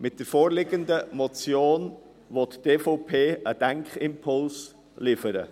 Mit der vorliegenden Motion will die EVP einen Denkimpuls liefern.